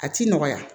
A ti nɔgɔya